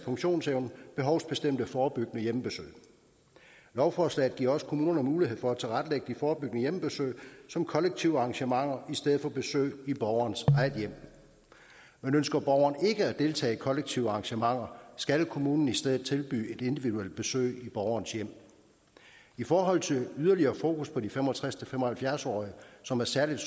funktionsevne behovsbestemte forebyggende hjemmebesøg lovforslaget giver også kommunerne mulighed for at tilrettelægge de forebyggende hjemmebesøg som kollektive arrangementer i stedet for som besøg i borgerens eget hjem men ønsker borgeren ikke at deltage i kollektive arrangementer skal kommunen i stedet tilbyde et individuelt besøg i borgerens hjem i forhold til yderligere fokus på de fem og tres til fem og halvfjerds årige som er særligt